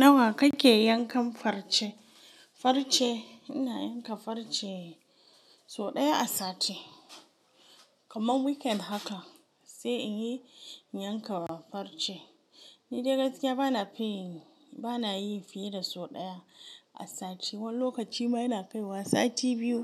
Nawa kake yankan farce? Farce ina yanka farce so ɗaya a sati, kamar weekend haka sai in yi, in yanka wa farce. Ni dai gaskiya bana fi, bana yi fiye da so ɗaya a sati. Wani lokaci ma yana kaiwa sati biyu